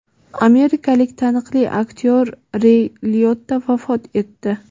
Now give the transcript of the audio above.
Amerikalik taniqli aktyor Rey Liotta vafot etdi.